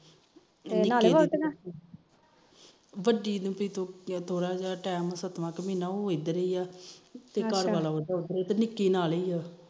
ਵੱਡੀ ਨੂੰ ਵੀ ਸੱਤਵਾ ਮਹੀਨਾ ਉਹ ਇਧਰ ਹੀ ਆ ਤੇ ਘਰ ਵਾਲਾ ਉਧਰ ਨਿਕੀ ਨਾਲੇ